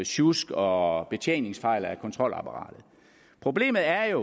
sjusk og betjeningsfejl af kontrolapparatet problemet er